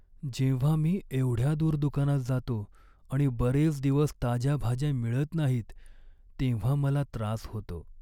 जेव्हा मी एवढ्या दूर दुकानात जातो आणि बरेच दिवस ताज्या भाज्या मिळत नाहीत, तेव्हा मला त्रास होतो.